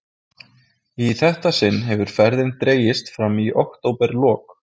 Í þetta sinn hefur ferðin dregist fram í októberlok.